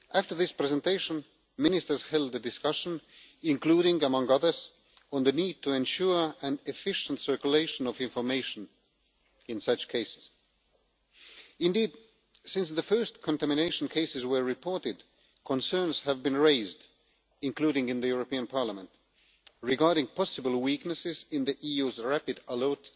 After this presentation, Ministers held a discussion including, among other things, the need to ensure an efficient circulation of information in such cases. Indeed, since the first contamination cases were reported, concerns have been raised, including in Parliament, regarding possible weaknesses in the EU's rapid alert